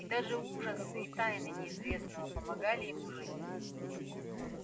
и даже ужасы и тайны неизвестного помогали ему жить